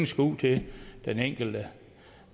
skal ud til den enkelte